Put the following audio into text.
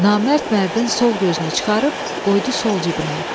Namərd Mərdin sol gözünü çıxarıb qoydu sol cibinə.